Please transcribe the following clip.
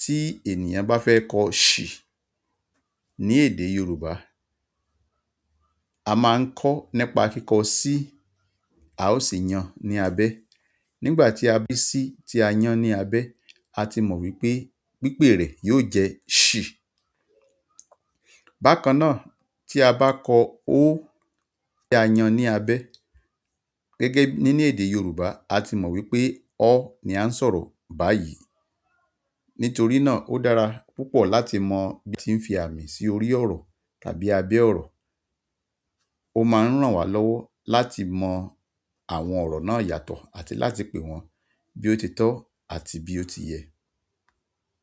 tí ènìyàn bá fẹ́ kọ ṣì ní èdè Yorùbá, a máa ń kọ nípa kíkọ sí a ó sì yan ní abẹ. Nigbati a bi si ti a yàn ni abẹ́ àti mọ wípé pipe rẹ̀ yóò jẹ́ ṣi bakannaa tí a ba kọ "o" ti a yàn ni abẹ́ gẹ́gẹ́ bi nínú èdè yorùbá àti mọ wípé "ọ" ni a n sọ̀rọ̀ bayi. Nítorí náà ó dára púpọ̀ láti mọ bí a tí ń fi àmì sí orí ọ̀rọ̀ tàbí abẹ́ ọ̀rọ̀. Ó máa ń ràn wá lọ́wọ́ láti mọ àwọn ọ̀rọ̀ náà yàtọ̀ àti láti pè wọ́n bí ó ti tọ́ àti bí ó ti yẹ.